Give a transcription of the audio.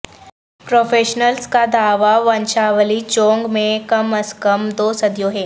professionals کا دعوی ونشاولی چونگ میں کم از کم دو صدیوں ہے